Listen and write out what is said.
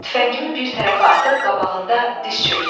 Tüfəngimi bir tərəfə atıb qabağında diz çökdüm.